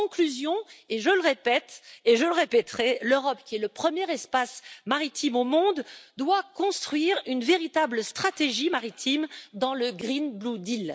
En conclusion, je répète et répéterai que l'Europe qui est le premier espace maritime au monde doit construire une véritable stratégie maritime dans le Green Blue Deal